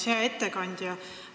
Hea ettekandja!